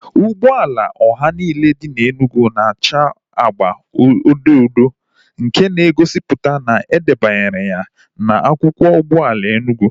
Ụgbọala ọha niile dị n'Enugu na acha agba odo odo nke na egosipụta na edebanyere ya na akwụkwọ ụgbọala Enugu